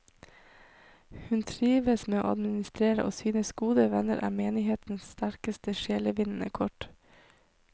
Hun trives med å administrere og synes gode venner er menighetens sterkeste sjelevinnende kort.